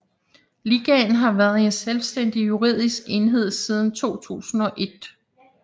Ligaen har været en selvstændig juridisk enhed siden 2001